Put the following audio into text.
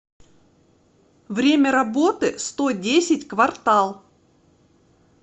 время работы сто десять квартал